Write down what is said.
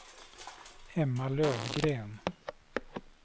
Emma Lövgren